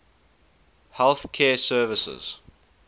health care services